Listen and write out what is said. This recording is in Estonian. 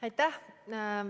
Aitäh!